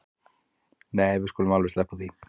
Nei við skulum alveg sleppa því